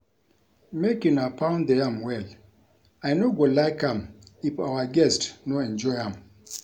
Make una pound the yam well, I no go like am if our guests no enjoy am